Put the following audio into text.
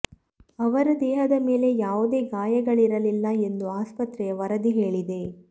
ಅವರ ದೇಹದ ಮೇಲೆ ಯಾವುದೇ ಗಾಯಗಳಿರಲಿಲ್ಲ ಎಂದು ಆಸ್ಪತ್ರೆಯ ವರದಿ ಹೇಳಿದೆ